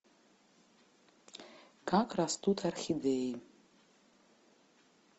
как растут орхидеи